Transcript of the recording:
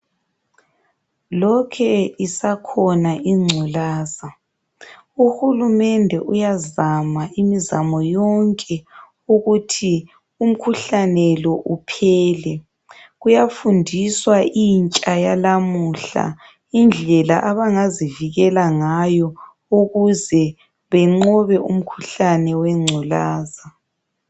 Lokhe isakhona ingculaza. Uhulumende uyazama imizamo yonke, ukuthi umkhuhlane lo uphele. Kuyafundiswa intsha yalamuhla, indlela abangazivikela ngayo, ukuze benqobe umkhuhlane wengculaza.